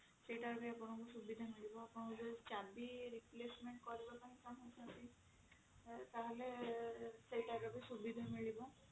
ସେଟା ବି ଆପଣଙ୍କୁ ସୁବିଧା ମିଳିବ ଆପଣ ଯଦି ଚାବି replacement କରିବାକୁ ଚାହୁଁଛନ୍ତି ହେଲେ ସେଇ type ର ବି ସୁବିଧା ମିଳିବ